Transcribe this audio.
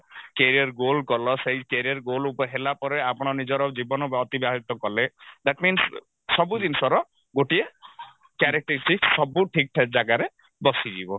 career goal କଲ ସେଇ career goal ହେଲା ପରେ ଆପଣ ନିଜର ଜୀବନ ଅତିବାହିତ କଲେ that means ସବୁ ଜିନିଷର ଗୋଟିଏ characteristics ସବୁ ଠିକ ଠାକ ଜାଗାରେ ବସିଯିବ